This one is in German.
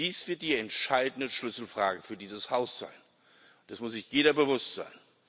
Dies wird die entscheidende Schlüsselfrage für dieses Haus sein dessen muss sich jeder bewusst sein.